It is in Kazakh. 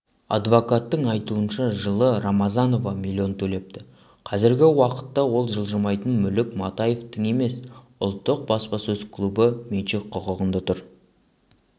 адвокаттың айтуынша жылы рамазанова миллион төлепті қазіргі уақытта ол жылжымайтын мүлік матаевтың емес ұлттық баспасөз клубы меншік құқығында тұр